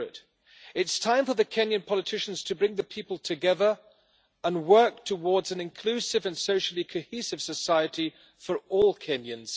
It is time for the Kenyan politicians to bring the people together and work towards an inclusive and socially cohesive society for all Kenyans.